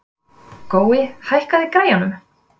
Gói, hækkaðu í græjunum.